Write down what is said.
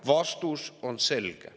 Vastus on selge.